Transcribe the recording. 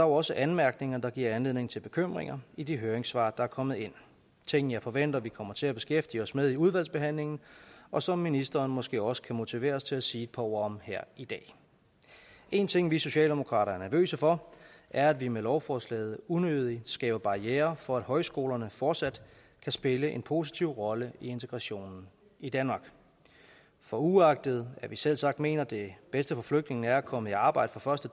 også anmærkninger der giver anledning til bekymringer i de høringssvar der er kommet ind ting jeg forventer vi kommer til at beskæftige os med i udvalgsbehandlingen og som ministeren måske også kan motiveres til at sige et par ord om her i dag en ting vi socialdemokrater er nervøse for er at vi med lovforslaget unødigt skaber barrierer for at højskolerne fortsat kan spille en positiv rolle i integrationen i danmark for uagtet at vi selvsagt mener at det bedste for flygtningene er at komme i arbejde fra